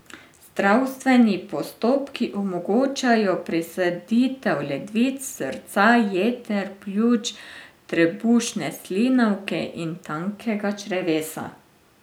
Zdravstveni postopki omogočajo presaditev ledvic, srca, jeter, pljuč, trebušne slinavke in tankega črevesa.